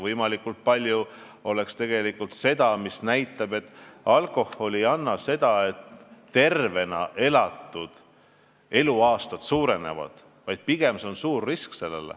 Võimalikult palju peaks olema tegevusi, mis aitavad aru saada, et alkohol ei anna juurde tervena elatud eluaastaid, vaid pigem tekitab suuri riske.